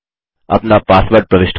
अपना पासवर्ड प्रविष्ट करें